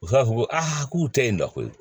U b'a fɔ ko a k'u tɛ yen dɛ koyi